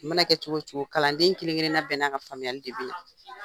I ma na kɛ cogo cogo kalanden kelenkelenna bɛɛ na ka faamuyali de be yi.